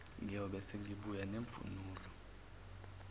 ngiyobe sengibuya nemvunulo